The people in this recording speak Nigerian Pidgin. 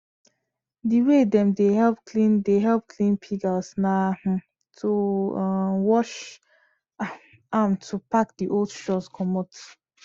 di way dem dey help clean dey help clean pig house na um to um wash um am or to pack di old straws comot